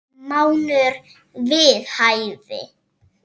Mánuður við hæfi.